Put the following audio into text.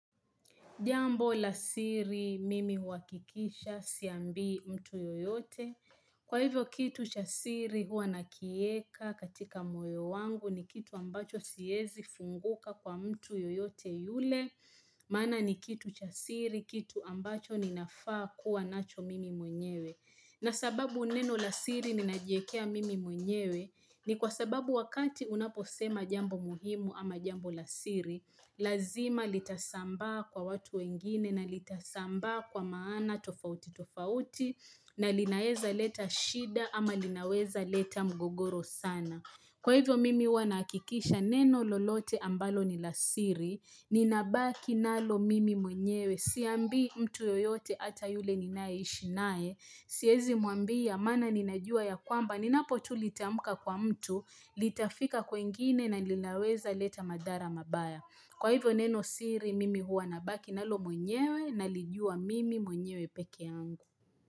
Jambo la siri mimi huhakikisha siambii mtu yoyote. Kwa hivyo kitu cha siri huwa nakieka katika moyo wangu ni kitu ambacho siezi funguka kwa mtu yoyote yule. Maana ni kitu cha siri kitu ambacho ninafaa kuwa nacho mimi mwenyewe. Na sababu neno lasiri ninajiekea mimi mwenyewe ni kwa sababu wakati unaposema jambo muhimu ama jambo la siri. Lazima litasambaa kwa watu wengine na litasambaa kwa maana tofauti tofauti na linaeza leta shida ama linaweza leta mgogoro sana Kwa hivyo mimi huwa na akikisha neno lolote ambalo ni lasiri Ninabaki nalo mimi mwenyewe Siambii mtu yoyote ata yule ninaye ishi naye Siezi mwambia mana ninajua ya kwamba Ninapo tu litamka kwa mtu Litafika kwengine na linaweza leta madhara mabaya Kwa hivyo neno siri mimi huwa nabaki nalo mwenyewe nalijua mimi mwenyewe peke yangu.